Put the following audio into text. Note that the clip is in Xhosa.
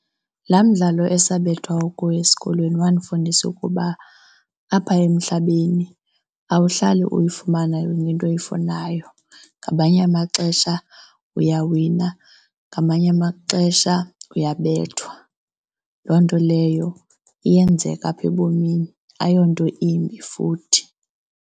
Laa mdlalo esabethwa kuwo esikolweni wandifundisa ukuba apha emhlabeni awuhlali uyifumana yonke into oyifunayo, ngamanye amaxesha uyawina ngamanye amaxesha uyabethwa. Loo nto leyo iyenzeka apha ebomini, ayonto imbi futhi.